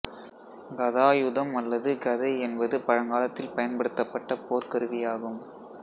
கதாயுதம் அல்லது கதை என்பது பழங்காலத்தில் பயன்படுத்தப்பட்ட போர்க் கருவியாகும்